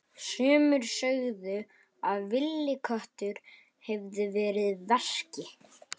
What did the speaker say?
Sumir sögðu að villiköttur hefði verið að verki.